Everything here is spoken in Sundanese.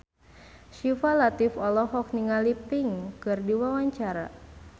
Syifa Latief olohok ningali Pink keur diwawancara